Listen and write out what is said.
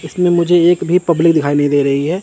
इसमें मुझे एक भी पब्लिक दिखाई नहीं दे रही है।